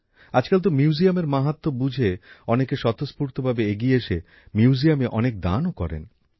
আজকাল তা মিউজিয়ামের মাহাত্ম্য বুঝে অনেকে স্বতঃস্ফূর্ত ভাবে এগিয়ে এসে মিউজিয়ামে অনেক দানও করেন